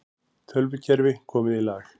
Tölvukerfi komið í lag